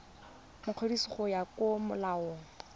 mokwadisi go ya ka molao